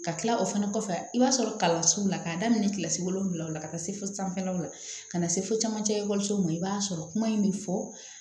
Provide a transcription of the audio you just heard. Ka kila o fana kɔfɛ i b'a sɔrɔ kalansow la k'a daminɛ kilasi wolonwula o la ka taa se fo sanfɛlaw la ka na se fo camancɛ ekɔlisow ma i b'a sɔrɔ kuma in bɛ fɔ